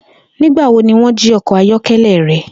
Nigbawo ni wọn ji ọkọ ayọkẹlẹ rẹ?